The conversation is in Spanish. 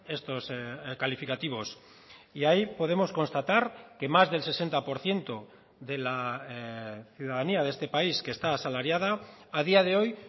estos calificativos y ahí podemos constatar que más del sesenta por ciento de la ciudadanía de este país que está asalariada a día de hoy